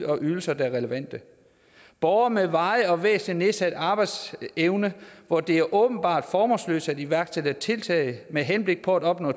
og ydelser der er relevante borgere med varig og væsentlig nedsat arbejdsevne hvor det er åbenbart formålsløst at iværksætte tiltag med henblik på at opnå